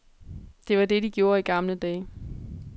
Det var det, de gjorde i de gamle dage.